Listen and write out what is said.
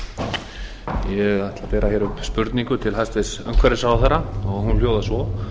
ætla að bera upp spurningu til hæstvirts umhverfisráðherra og hún hljóðar svo